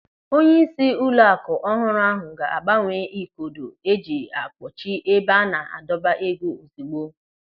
Onyeisi ụlọaku ọhụrụ ahụ ga-agbanwe ikodo eji a kpọchi ebe a na-adọba ego ozigbo.